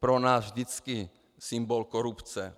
pro nás vždycky symbol korupce.